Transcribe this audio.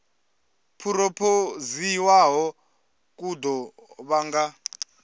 phurophoziwaho ku ḓo vha nga